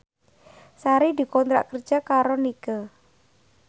Sari dikontrak kerja karo Nike